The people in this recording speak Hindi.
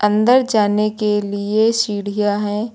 अंदर जाने के लिए सीढ़ियां हैं।